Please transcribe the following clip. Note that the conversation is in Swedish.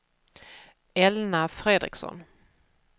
Elna Fredriksson